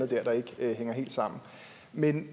der der ikke hænger helt sammen men